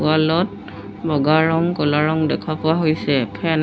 wall ত বগা ৰং ক'লা ৰং দেখা পোৱা হৈছে ফেন এ--